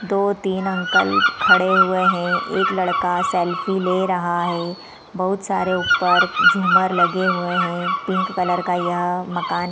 दो-तीन अंकल खड़े हुए हैं एक लड़का सेल्फी ले रहा है बहुत सारे ऊप्पर झूमर लगे हुए हैं पिंक कलर का यह मकान --